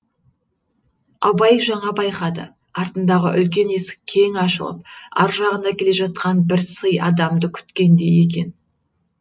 абай жаңа байқады артындағы үлкен есік кең ашылып ар жағында келе жатқан бір сый адамды күткендей екен